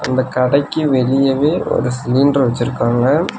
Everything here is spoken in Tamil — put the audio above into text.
அந்த கடைக்கு வெளியவே ஒரு சிலிண்டர் வெச்சுருக்காங்க.